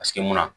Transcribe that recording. Paseke munna